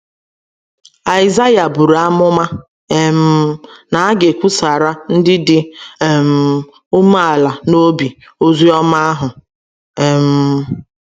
Aịzaịa buru amụma um na a ga - ekwusara ndị dị um umeala n’obi ozi ọma ahụ. um